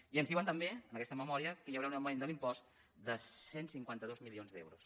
i ens diuen també en aquesta memòria que hi haurà un augment de l’impost de cent i cinquanta dos milions d’euros